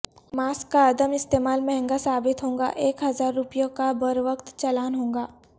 mask کا عدم استعمال مہنگا ثابت ہوگاایک ہزار روپیوں کا بروقت چالان ہوگا